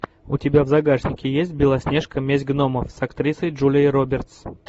у тебя в загашнике есть белоснежка месть гномов с актрисой джулией робертс